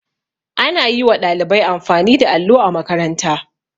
Ana yi wa ɗalibai amfani da allo a makaranta.